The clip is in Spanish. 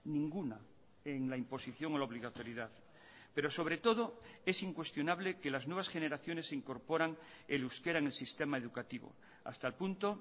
ninguna en la imposición o la obligatoriedad pero sobre todo es incuestionable que las nuevas generaciones incorporan el euskera en el sistema educativo hasta el punto